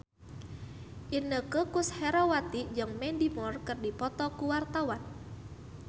Inneke Koesherawati jeung Mandy Moore keur dipoto ku wartawan